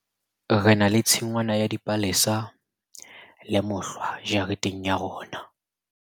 re na le tshingwana ya dipalesa le mohlwa jareteng ya rona